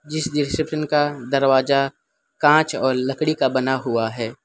जिस रिप्सशन का दरवाजा कांच और लकड़ी का बना हुआ है।